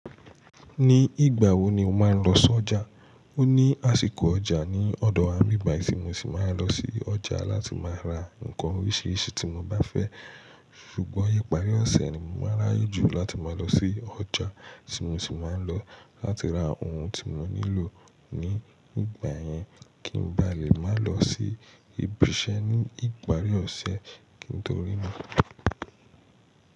Ní ìgbà wo ni o máa ń lọ sí ọjà? O ní àsìkò ọjà ní ọ̀dọ̀ àwọn mí báyìí tí mo sì máa lọ sí ọjà láti máa ra nnkan oríṣiríṣi tí mo bá fẹ́. Ṣùgbọ́n ìparí ọ̀sẹ̀ ni mo máa ráyejù láti máa lọ sí ọjà tí mo sì máa ń lọ láti ra ohun tí mo nílò ní ìgbà yẹn kí n ba lè má lọ sí ibi iṣẹ́ ní ìparí ọ̀sẹ̀. Kí n torí náà.